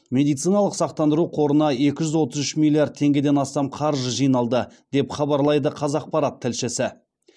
медициналық сақтандыру қорына екі жүз отыз үш миллиард теңгеден астам қаржы жиналды деп хабарлайды қазақпарат тілшісі